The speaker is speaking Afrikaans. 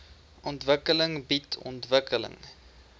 ontwikkeling bied ontwikkeling